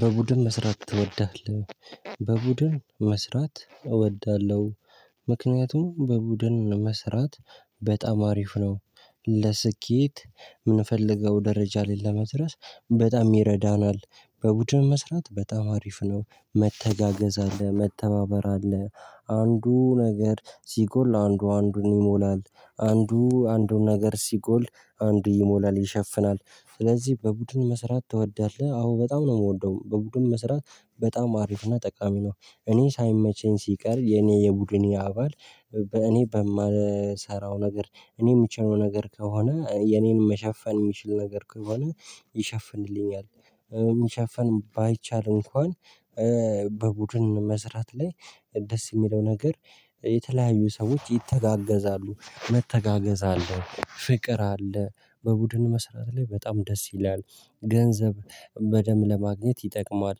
በቡድን መስራት ትወዳለህ? በቡድን መስራት እወዳለሁ ምክንያቱም በቡድን መስራት በጣም አሪፍ ነው። ለስኬት የምንፈልገው ደረጃ ላይ ለመድረስ በጣም ይረዳናል። በቡድን መስራት በጣም አሪፍ ነው መተጋገዝ አለ መተባበር አለ አንዱ ነገር ሲጎል አንዱ አንዱን ይሞላል። አንዱ አንዱን ነገር ሲጎል አይዱ ይሞላል ይሸፍናል ስለዚህ በቡድን መስራት ትወዳለህ አዎ በጣም ነው የምወደው። በቡድን መስራት በጣም አሪፍ እና ጠቃሚ ነው። እኔ ሳይመቸኝ ሲቀር የኔ የቡድን አባል። እኔ በማልሰራው ነገር እኔ የምችለው ነገር ከሆነ የኔን መሸፈን የሚችል ነገር ከሆነ ይሸፍንልኛል። መሸፍን ባይቻል እንኳን በቡድን መስራት ላይ ደስ የሚለው ነገር የተለያዩ ሰዎች ይተጋገዛሉ መተጋገዝ አለ ፍቅር አለ። በቡድን መስራት ላይ በጣም ደስ ይላል ገንዘብ በደምብ ለማግኘት ይጠቅማል።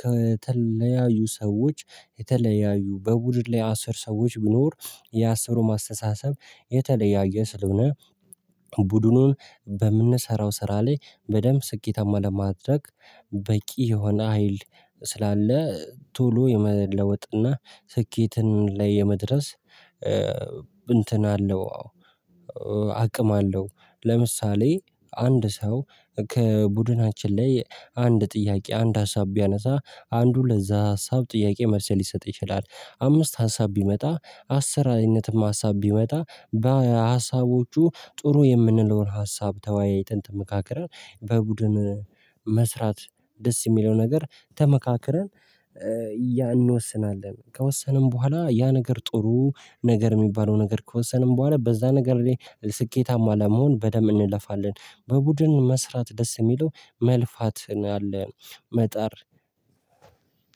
ከተለያዩ ሰዎች የተለያዩ በቡድን ላይ አስር ሰዎች ቢኖር የአስሩም አስተሳሰብ የተለያየ ስለሆነ። ቡድኑን በምንሰራው ስራ ላይ በደንብ ስኬታማ ለማድረግ በቂ የሆነ ሀይል ስላለ ቶሎ የመለወጥ እና ስኬትን ላይ የመድረስ እንትን አለው አዎ አቅም አለው። ለምሳሌ አንድ ሰው ከቡድናችን ላይ አንድ ጥያቄ አንድ ሀሳብ ቢያነሳ አንዱ ለዛ ሀሳብ ጥያቄ መልሰል ይሰጥ ይችላል። አምስት ሀሳብ ቢመጣ አሰረሰ አይነትም ሀሳብ ቢመጣ በሀሳቦቹ ጥሩ የምንለውን ሀሳብ ተወያይተን። በቡድን መስራት ደስ የሚለው ነገር ተመካክረን እንወስናለን። ከወሰንን በኋላ ያ ነገር ጥሩ ነገር የሚባለው ነገር ከወሰንን በኋላ በዛ ነገር ላይ ስኬታማ ለመሆን በደንብ እንለፋለን። በቡድን መስራት ደስ የሚለው መልፋት ነው ያለ። መጣር